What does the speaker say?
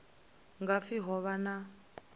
nga pfi ho vha na